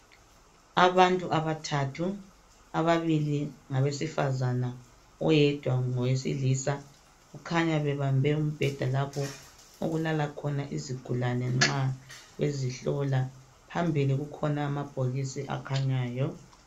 Abantu abathathu, ababili ngabesifazana oyedwa ngowesilisa kukhanya bebambe umbheda lapho okulala khona izigulane nxa bezihlola phambili kukhona amabhokisi akhanyayo.